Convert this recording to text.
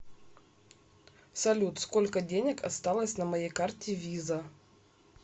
салют сколько денег осталось на моей карте виза